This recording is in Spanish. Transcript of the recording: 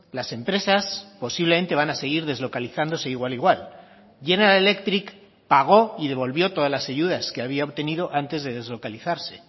las empresas posiblemente van a seguir deslocalizándose igual igual general electric pagó y devolvió todas las ayudas que había obtenido antes de deslocalizarse